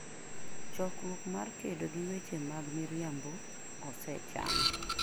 Chokruok mar kedo gi weche mag miriambo osechan.